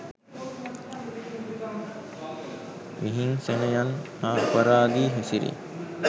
විහිංසනයන් හා අපරාධී හැසිරීම්